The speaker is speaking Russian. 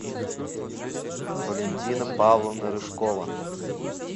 валентина павловна рыжкова